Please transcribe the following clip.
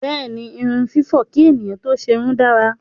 Bẹ́ẹ̀ni, irun fífọ̀ kí ènìyàn tó ṣerun dára.